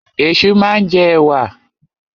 Ẹ̀ṣu máa ń jẹ ẹ̀wà.